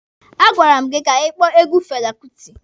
A gwara m gị ka ị kpọọ egwu Fela Kuti!